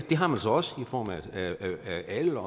det har man så også i form af alder